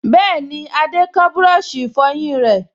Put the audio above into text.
Bẹ́ẹ̀ni, Adé kán búrọ̀sì ìfọyín rẹ̀